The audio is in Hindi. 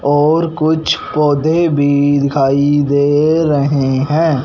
और कुछ पौधे भी दिखाई दे रहें हैं।